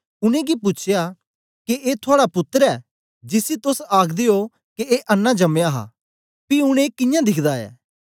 उनेंगी पूछया के ए थुआड़ा पुत्तर ऐ जिसी तोस आखदे ओ के ए अन्नां जम्मयां हा पी ऊन ए कियां दिखदा ऐ